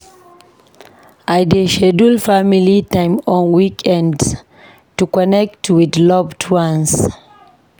I dey schedule family time on weekends to connect with loved ones.